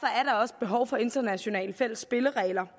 også behov for internationale fælles spilleregler